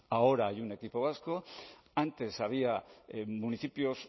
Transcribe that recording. ahora hay un equipo vasco antes había municipios